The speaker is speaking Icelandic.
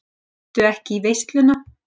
Mættu ekki í veisluna